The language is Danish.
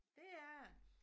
Det er det